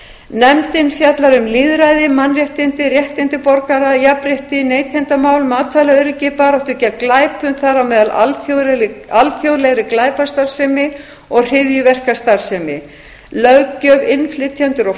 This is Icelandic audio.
nefndin fjallar um lýðræði mannréttindi réttindi borgara jafnrétti neytendamál matvælaöryggi baráttu gegn glæpum þar á meðal alþjóðlegri glæpastarfsemi og hryðjuverkastarfsemi löggjöf innflytjendur og